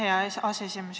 Aitäh, hea aseesimees!